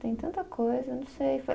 Tem tanta coisa, não sei.